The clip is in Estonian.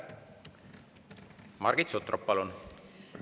Margit Sutrop, palun!